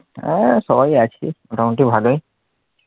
হ্যাঁ সবাই আছে মোটামুটি ভালোই,